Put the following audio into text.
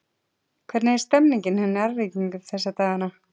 Hvernig er stemningin hjá Njarðvíkingum þessa dagana?